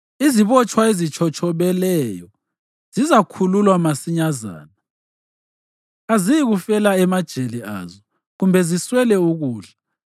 Izibotshwa ezitshotshobeleyo zizakhululwa masinyazana, aziyikufela emajele azo, kumbe ziswele ukudla.